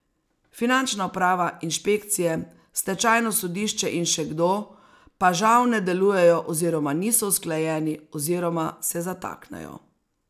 Finančna uprava, inšpekcije, stečajno sodišče in še kdo pa, žal, ne delujejo oziroma niso usklajeni oziroma se zataknejo.